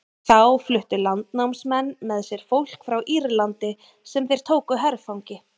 þá fluttu landnámsmenn með sér fólk frá írlandi sem þeir tóku herfangi